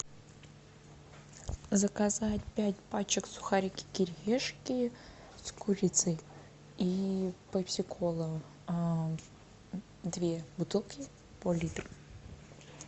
заказать пять пачек сухарики кириешки с курицей и пепси кола две бутылки по литру